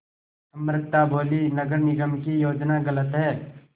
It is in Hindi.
अमृता बोलीं नगर निगम की योजना गलत है